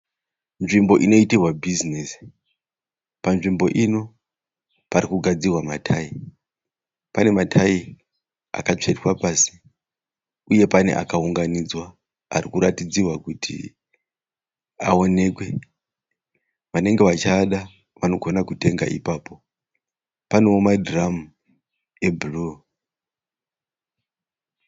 Nzvimbo inoitirwa bhizinesi. Panzvimbo ini parikugadzirwa matayi. Panematayi akatsvetwa pasi uye pane akaunganidzwa arikuratidzirwa kuti aonekwe. Vanenge vachiada vanogona kutenga ipapo. Panewo madhiramu ebhuruu.